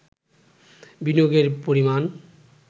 বিনিয়োগের পরিমাণ